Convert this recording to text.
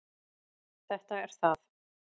Þetta er það.